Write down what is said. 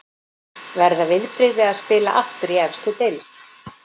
Verða viðbrigði að spila aftur í efstu deild.